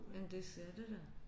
Jamen det er det da